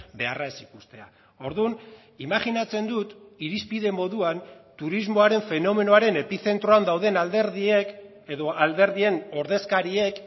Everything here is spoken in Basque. beharra ez ikustea orduan imajinatzen dut irizpide moduan turismoaren fenomenoaren epizentroan dauden alderdiek edo alderdien ordezkariek